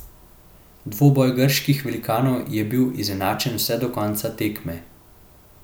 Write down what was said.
Dvoboj grških velikanov je bil izenačen vse do konca tekme.